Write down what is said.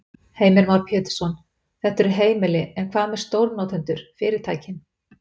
Heimir Már Pétursson: Þetta eru heimili, en hvað með stórnotendur, fyrirtækin?